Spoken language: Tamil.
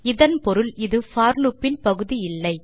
இதன் பொருள் இது போர் லூப் இன் பகுதி இல்லை